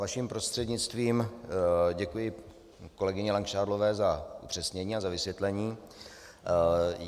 Vaším prostřednictvím děkuji kolegyni Langšádlové za upřesnění a za vysvětlení.